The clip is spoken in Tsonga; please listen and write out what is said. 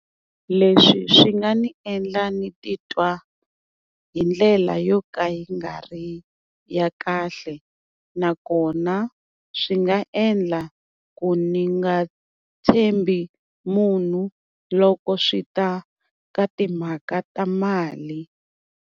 Leswi swi nga ni endla ni titwa hi ndlela yo ka yi nga ri ya kahle, nakona swi nga endla ku ni nga tshembi munhu loko swi ta ka timhaka ta mali.